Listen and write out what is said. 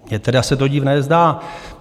Mně teda se to divné zdá.